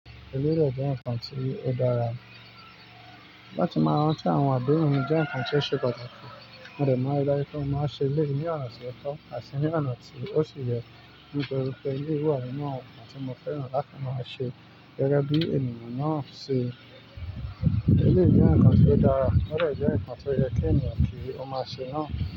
Elérè o jẹ́ nǹkan tí ó dára. Láti máa rán an tí àwọn àdéhùn mi jẹ́ nǹkan tí ó ṣe pàtàkì. N ò lè máa rí dájú pé mo máa ṣe ilé ní ọ̀nà tí ó tọ́ àti ní ọ̀nà tí ó ti yẹ, nítorí pé eléyìí wà nínú àwọn nǹkan tí mo fẹ́ràn láti máa ṣe gẹ́gẹ́ bí ènìyàn náà ṣi eléyìí jẹ́ nǹkan tí ó dára, ó dẹ̀ jẹ́ nǹkan tí ó yẹ kí ènìyàn kí ó máa ṣe náà.